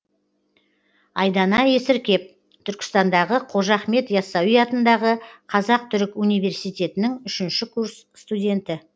айдана есіркеп түркістандағы қожа ахмет ясауи атындағы қазақ түрік университетінің үшінші курс студенті